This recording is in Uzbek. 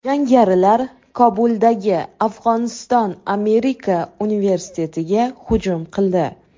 Jangarilar Kobuldagi Afg‘oniston Amerika universitetiga hujum qildi.